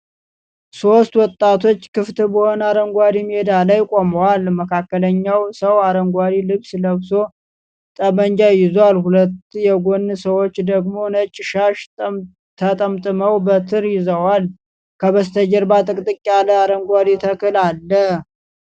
ሦስት ወጣቶች ክፍት በሆነ አረንጓዴ ሜዳ ላይ ቆመዋል። መካከለኛው ሰው አረንጓዴ ልብስ ለብሶ ጠመንጃ ይዟል፤ ሁለቱ የጎን ሰዎች ደግሞ ነጭ ሻሽ ተጠምጥመው በትር ይዘዋል። ከበስተጀርባ ጥቅጥቅ ያለ አረንጓዴ ተክል አለ።